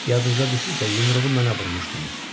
Yadınıza düşürsə yumruğu mənə vurmuşdunuz.